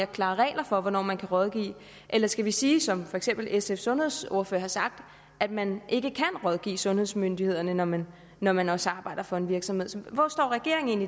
klarere regler for hvornår man kan rådgive eller skal vi sige som for eksempel sfs sundhedsordfører har sagt at man ikke kan rådgive sundhedsmyndighederne når man når man også arbejder for en virksomhed hvor står regeringen